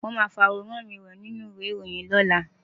Wọ́n máa fi àwòrán mi hàn nínú ìwé ìròyìn lọ́la.